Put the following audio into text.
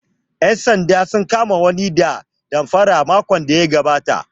Ƴan sanda sun kama wani ɗan damfara makon da ya gabata